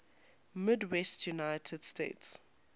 midwestern united states